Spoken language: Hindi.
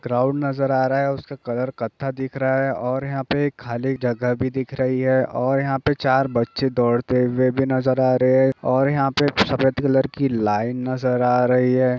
ग्राउन्ड नज़र आ रहा है उसका कलर कत्था दिख रहा है और यहाँ पे एक खाली जगह भी दिख रही है और यहाँ पे चार बच्चे दौड़ते हुए भी नज़र आ रहे है और यहाँ सफेद कलर की लाइन नज़र आ रही है।